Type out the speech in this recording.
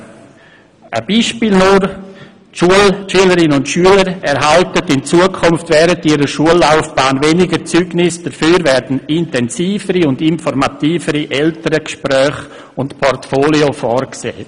Dies nur als Beispiel: Die Schülerinnen und Schüler erhalten in Zukunft während ihrer Schullaufbahn weniger Zeugnisse, dafür werden intensivere und informativere Elterngespräche und Portfolios vorgesehen.